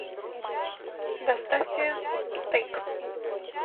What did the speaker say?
доставьте стейк